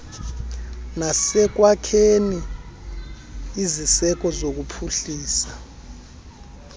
nasekwakheni iziseko zokuphuhlisa